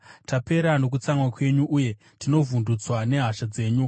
Tapera nokutsamwa kwenyu uye tinovhundutswa nehasha dzenyu.